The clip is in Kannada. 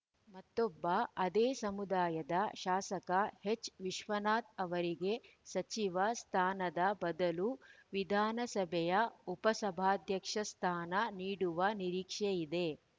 ಮತ್ತೊಬ್ಬ ಅದೇ ಸಮುದಾಯದ ಶಾಸಕ ಎಚ್‌ವಿಶ್ವನಾಥ್‌ ಅವರಿಗೆ ಸಚಿವ ಸ್ಥಾನದ ಬದಲು ವಿಧಾನಸಭೆಯ ಉಪಸಭಾಧ್ಯಕ್ಷ ಸ್ಥಾನ ನೀಡುವ ನಿರೀಕ್ಷೆಯಿದೆ